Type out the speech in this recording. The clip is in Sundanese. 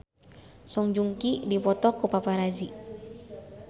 Song Joong Ki dipoto ku paparazi